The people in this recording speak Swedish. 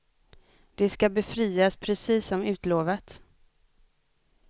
De ska befrias, precis som utlovat.